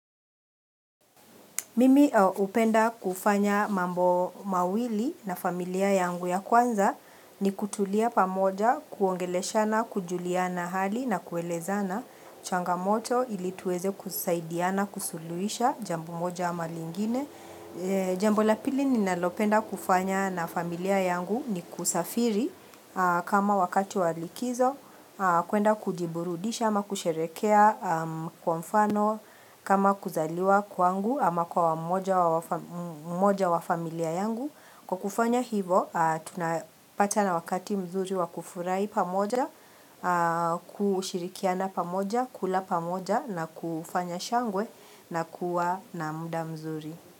Mimi hupenda kufanya mambo mawili na familia yangu ya kwanza ni kutulia pamoja kuongeleshana kujulia hali na kuelezana changamoto ili tuweze kusaidiana kusuluhisha jambo moja ama lingine. Jambo la pili ninalopenda kufanya na familia yangu ni kusafiri kama wakati wa likizo kuenda kujiburudisha ama kusherehekea kwa mfano kama kuzaliwa kwangu ama kwa mmoja wa familia yangu Kwa kufanya hivo tunapatana wakati mzuri wa kufurahi pamoja kushirikiana pamoja, kula pamoja na kufanya shangwe na kuwa na muda mzuri.